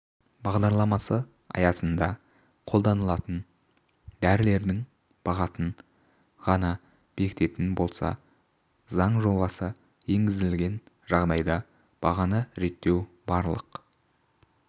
бағдарламасы аясында қолданылатын дәрілердің бағасын ғана бекітетін болса заң жобасы енгізілген жағдайда бағаны реттеу барлық